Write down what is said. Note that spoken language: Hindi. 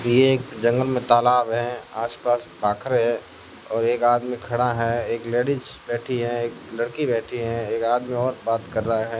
ये एक जंगल में तालाब है आसपास पाखर है और एक आदमी खड़ा है एक लेडिज बैठी है एक लड़की बैठी है एक आदमी और बात कर रहा है।